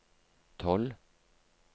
tolv